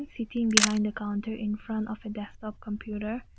sitting behind the counter in front of desktop computer.